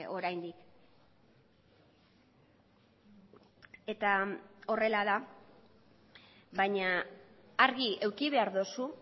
oraindik eta horrela da baina argi eduki behar duzu